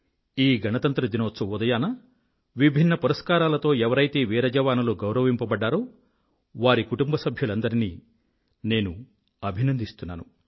ఈ గణతంత్ర దినోత్సవ ఉదయాన విభిన్న పురస్కారాలతో ఎవరైతే వీరజవానులు గౌరవింపబడ్డారో వారి కుటుంబసభ్యులందరినీ నేను అభినందిస్తున్నాను